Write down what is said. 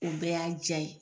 O bɛɛ y'a diya ye.